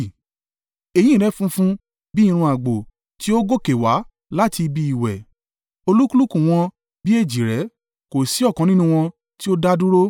Eyín rẹ̀ funfun bí i irun àgbò tí ó gòkè wá láti ibi ìwẹ̀; olúkúlùkù wọn bí èjìrẹ́; kò sí ọ̀kan nínú wọn tí ó da dúró.